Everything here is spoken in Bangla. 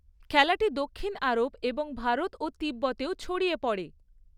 খেলাটি দক্ষিণ আরব এবং ভারত ও তিব্বতেও ছড়িয়ে পড়ে।